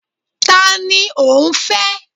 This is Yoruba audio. Ta ni ò ń fẹ́?